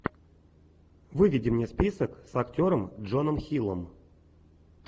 выведи мне список с актером джоном хиллом